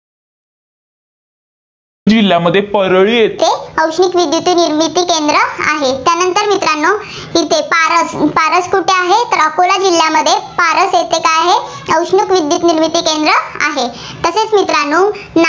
जिल्ह्यामध्ये परळी येथे औष्णिक विद्युत निर्मिती केंद्र आहे. त्यानंतर मित्रांनो येथे पारस, पारस कुठे आहे, तर अकोल जिल्ह्यामध्ये पारस येथे काय आहे, औष्णिक विद्युत निर्मिती केंद्र आहे. तसेच मित्रांनो